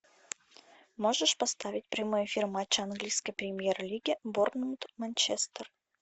можешь поставить прямой эфир матча английской премьер лиги борнмут манчестер